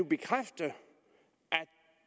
bekræfte